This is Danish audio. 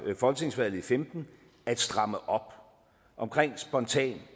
folketingsvalget i femten at stramme op omkring spontan